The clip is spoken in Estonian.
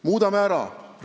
Muudame ära!